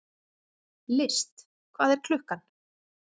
List, hvað er klukkan?